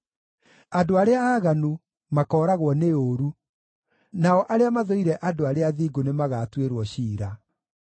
Andũ arĩa aaganu makooragwo nĩ ũũru; nao arĩa mathũire andũ arĩa athingu nĩmagatuĩrwo ciira.